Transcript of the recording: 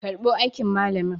karbo aikin malamin!